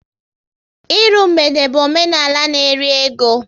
Ịrụ mgbede bụ omenala n'eri ego